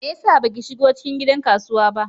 Me yasa baki shigo cikin gidan kasuwa ba?